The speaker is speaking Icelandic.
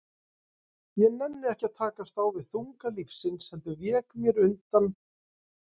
Ég nennti ekki að takast á við þunga lífsins, heldur vék mér undan.